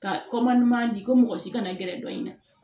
Ka ɲuman di ko mɔgɔ si kana gɛrɛ dɔ in na